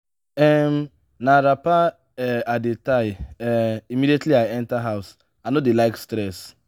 um na wrapper um i dey tie um immediately i enta house i no dey like stress.